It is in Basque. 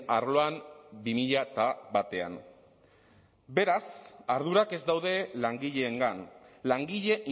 arloan bi mila batean beraz ardurak ez daude langileengan langile